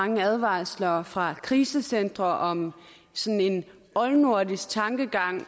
mange advarsler fra krisecentre om sådan en oldnordisk tankegang